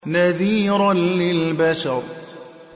نَذِيرًا لِّلْبَشَرِ